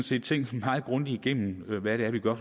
side tænkt meget grundigt igennem hvad det er vi gør